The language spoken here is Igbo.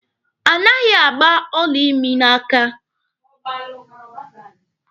Anaghị agba ọla imi n'aka.